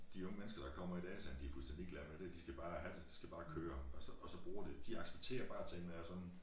De unge mennesker der kommer i dag sagde han de fuldstændig ligeglad med det de skal bare havde det de skal bare køre og så og så bruger det de accepterer bare tingene er sådan